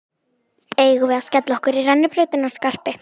Eigum við að skella okkur í rennibrautina, Skarpi!